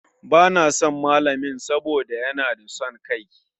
Ba na son malamin saboda ya na son kai.